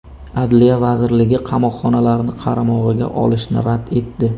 Adliya vazirligi qamoqxonalarni qaramog‘iga olishni rad etdi.